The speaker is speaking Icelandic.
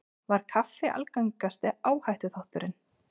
Var kaffi algengasti áhættuþátturinn